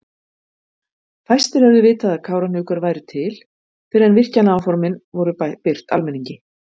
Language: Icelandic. Fæstir hefðu vitað að Kárahnjúkar væru til fyrr en virkjanaáformin voru birt almenningi.